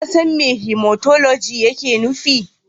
Ka san me Hematoloji yake nufi?